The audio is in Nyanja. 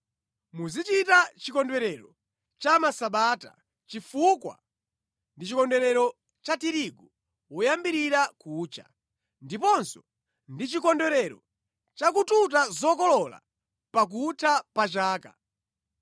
“Muzichita Chikondwerero cha Masabata, chifukwa ndi chikondwerero cha tirigu woyambirira kucha, ndiponso ndi chikondwerero cha kututa zokolola pakutha pa chaka.